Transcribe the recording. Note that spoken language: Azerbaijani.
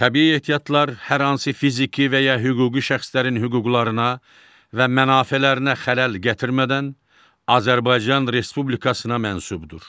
Təbii ehtiyatlar hər hansı fiziki və ya hüquqi şəxslərin hüquqlarına və mənafelərinə xələl gətirmədən Azərbaycan Respublikasına məxsusdur.